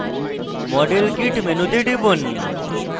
model kit মেনুতে টিপুন